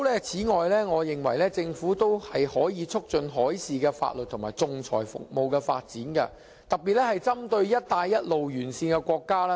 此外，我認為政府可以促進海事法律及仲裁服務的發展，特別是針對"一帶一路"沿線國家。